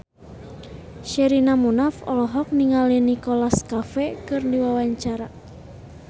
Sherina Munaf olohok ningali Nicholas Cafe keur diwawancara